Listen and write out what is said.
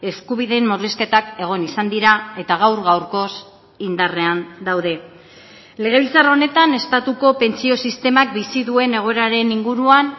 eskubideen murrizketak egon izan dira eta gaur gaurkoz indarrean daude legebiltzar honetan estatuko pentsio sistemak bizi duen egoeraren inguruan